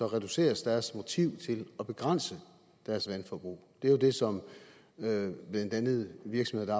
reduceres deres motiv til at begrænse deres vandforbrug det er jo det som blandt andet virksomheder